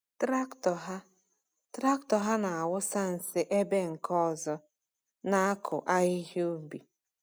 Traktọ ha Traktọ ha na-awụsa nsị ebe nke ọzọ na-akụ ahịhịa ubi.